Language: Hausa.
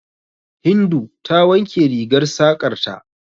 Hindu ta wanke rigar saƙar ta.